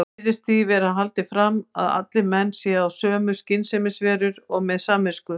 Þar virðist því haldið fram að allir menn séu að sönnu skynsemisverur og með samvisku.